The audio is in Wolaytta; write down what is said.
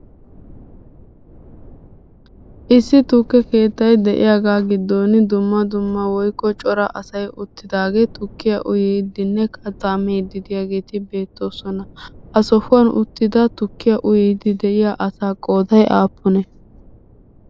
Issi tukke keettay de'iyagaa giddon dumma dumma woyikko cora say uttidaagee tukkiya uyiiddinne kattaa miiddi diyageeti beettoosona. Ha sohuwan uttida tukkiya uyiiddi de'iya asaa qooday aappunee?